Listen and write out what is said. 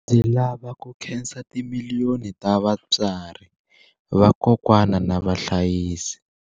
Ndzi lava ku khensa timiliyoni ta vatswari, vakokwana na vahlayisi.